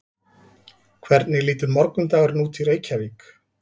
hvernig lítur morgundagurinn út í reykjavík